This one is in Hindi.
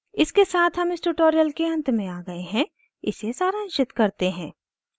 इसके साथ हम इस ट्यूटोरियल के अंत में आ गए हैं इसे सारांशित करते हैं